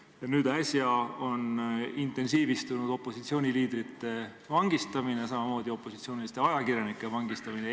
Ja nüüd äsja on intensiivistunud opositsiooniliidrite vangistamine, samamoodi opositsiooniliste ajakirjanike vangistamine.